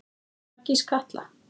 Hvenær gýs Katla?